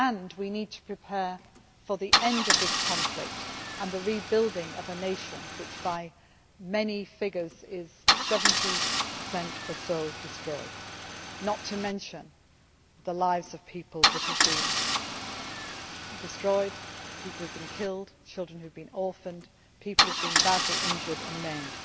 We need to prepare for the end of this conflict too and the rebuilding of a nation which many figures say is 70 or so destroyed, not to mention the lives of people that have been destroyed, people who have been killed, children who have been orphaned and people who have been badly injured and maimed.